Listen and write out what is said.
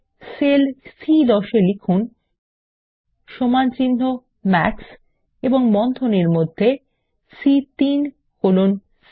sell সি10 এ লিখুন সমানচিহ্ন মাক্স এবং বন্ধনীর মধ্যে সি3 কোলন সি7